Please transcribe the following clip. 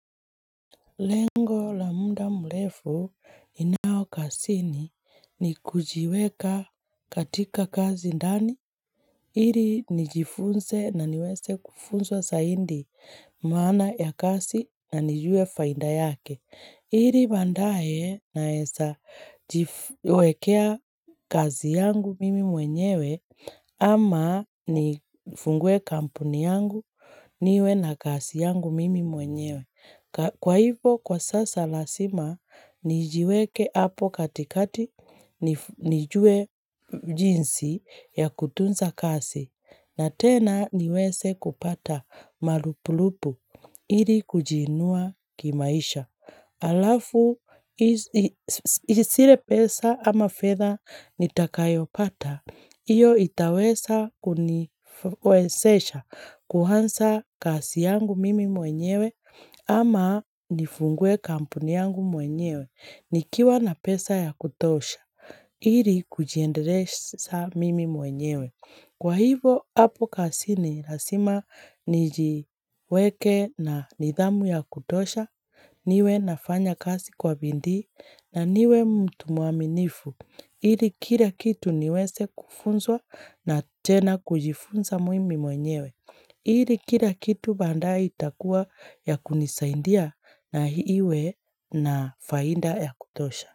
Lengo la mda mrefu ninao kasini ni kujiweka katika kazi ndani il Ili nijifunse na niweze kufunswa saindi maana ya kazi na nijue fainda yake. Iri bandae naesa jifuwekea kazi yangu mimi mwenyewe ama nifungue kampuni yangu niwe na kazi yangu mimi mwenyewe ka,,,. Kwa hivo kwa sasa lasima nijiweke hapo katikati nif nijue jinsi ya kutunza kasi na tena niweze kupata malupulupu ili kujiinua kimaisha. Alafu, is is hisia pesa ama fedha nitakayopata, hiyo itaweza kunifuesesha, kuhansa kasi yangu mimi mwenyewe ama nifungue kampuni yangu mwenyewe, nikiwa na pesa ya kutosha, ili kujiendeleshsaa mimi mwenyewe. Kwa hivo hapo kasini lasima nijiweke na nidhamu ya kutosha, niwe nafanya kasi kwa bindii na niwe mtu mwaminifu, ili kila kitu niwese kufunzwa na tena kujifunza mwimi mwenyewe, ili kila kitu bandaye itakuwa ya kunisaindia na hiwe na fainda ya kutosha.